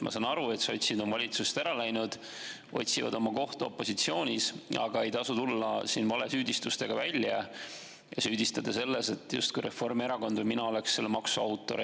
Ma saan aru, et sotsid on valitsusest ära läinud, otsivad oma kohta opositsioonis, aga ei tasu tulla siin valesüüdistustega välja ja süüdistada selles, et justkui Reformierakond või mina oleks selle maksu autor.